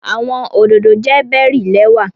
Awọn ododo jẹ bery lẹwa